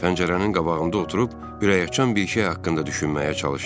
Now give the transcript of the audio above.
Pəncərənin qabağında oturub ürəkaçan bir şey haqqında düşünməyə çalışdım.